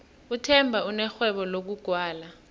uthemba unerhwebo lokugwala